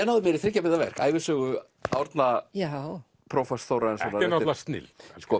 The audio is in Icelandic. náði mér í þriggja binda verk ævisögu Árna prófasts Þórarinssonar þetta er náttúrulega snilld